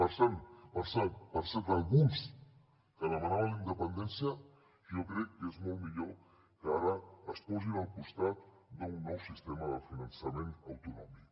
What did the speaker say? per cert alguns que demanaven la independència jo crec que és molt millor que ara es posin al costat d’un nou sistema de finançament autonòmic